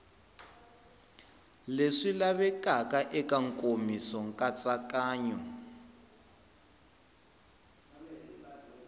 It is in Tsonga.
leswi lavekaka eka nkomiso nkatsakanyo